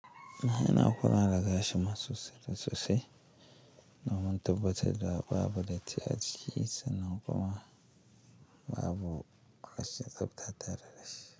Ina da kula da gashi ma sosai da sosai domin tabbatar da babu datti a ciki sannan kuma babu kashe tsafta tataltare dashi.